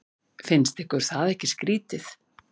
Finnst ykkur það ekki skrýtið?